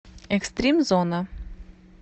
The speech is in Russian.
экстримзона